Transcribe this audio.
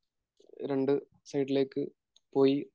രണ്ട് സൈഡിലേക്ക് പോയി എന്നാണ്